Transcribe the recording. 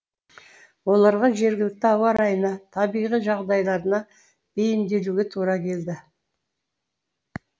оларға жергілікті ауа райына табиғи жағдайларына бейімделуге тура келді